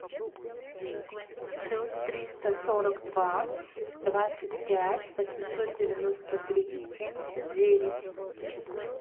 плюс триста сорок два двадцать пять восемьсот девяносто три семьдесят девять